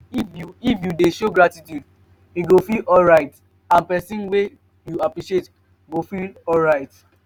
if you if you de show gratitude you go feel alright and persin wey you appreciate go feel alright